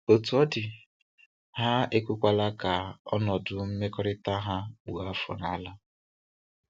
Otú ọ dị, ha ekwekwala ka ọnọdụ mmekọrịta ha kpụọ afọ n'ala.